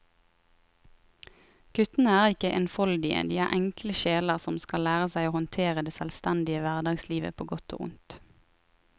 Guttene er ikke enfoldige, de er enkle sjeler som skal lære seg å håndtere det selvstendige hverdagslivet på godt og vondt.